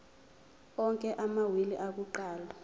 onke amawili akuqala